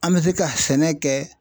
An bɛ se ka sɛnɛ kɛ